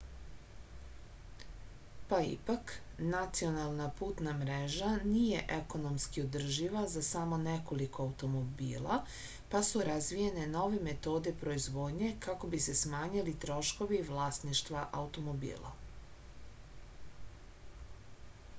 pa ipak nacionalna putna mreža nije ekonomski održiva za samo nekoliko automobila pa su razvijene nove metode proizvodnje kako bi se smanjili troškovi vlasništva automobila